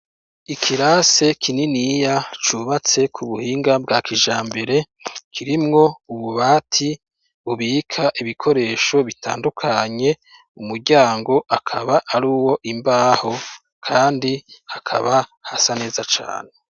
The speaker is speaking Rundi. Ikirase kininiya cubatse ku buhinga bwa kija mbere kirimwo ububati ubika ibikoresho bitandukanye umuryango akaba ari wo imbaho, kandi hakaba hasa neza cane.